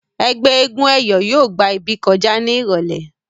ẹgbẹ éégun eyọ yóò gbà ibí kọjá ní irọlẹ.